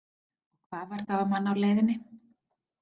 Og hvað varð þá um hann á leiðinni?